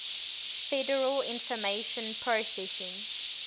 federal information processing